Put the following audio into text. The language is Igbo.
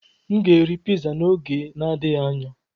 M ga-eri piza n'oge na-adịghị anya.